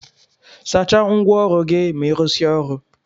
Sacha ngwa ọrụ gi ma irụsia ọrụ.